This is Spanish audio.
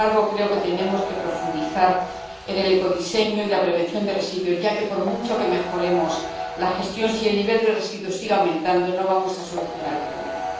Sin embargo, creo que tenemos que profundizar en el ecodiseño y la prevención de residuos, ya que, por mucho que mejoremos la gestión, si el nivel reducido sigue aumentando, no vamos a solucionar el problema.